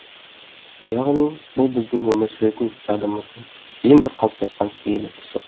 яғни бұл біздің өмір сүретін жадымыздың ең бір қалыптасқан киелі тұсы